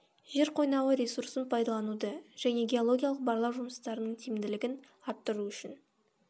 жер қойнауы ресурсын пайдалануды және геологиялық барлау жұмыстарының тиімділігін арттыру үшін